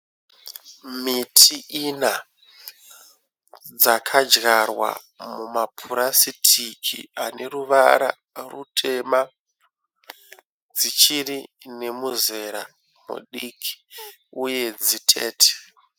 Miti ini dzakadyarwa mumapurasitiki ane ruvara rutema. Dzichiri nemuzera mudiki uye dzitete.